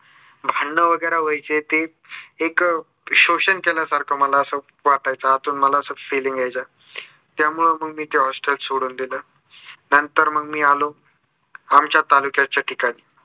भांडणं वगेरे व्हायचे ते एक शोषण केल्यासारखं मला असं वाटायच आतून मला असं feeling यायच. त्यामुळे मग मी ते hostel सोडून दिलं. नंतर मग मी आलो आमच्या तालुक्याच्या ठिकाणी